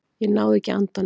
Ég náði ekki andanum.